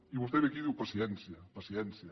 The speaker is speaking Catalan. i vostè ve aquí i diu paciència paciència